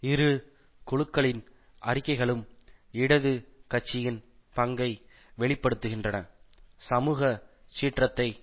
இரு குழுக்களின் அறிக்கைகளும் இடது கட்சியின் பங்கை வெளி படுத்துகின்றன சமூக சீற்றத்தை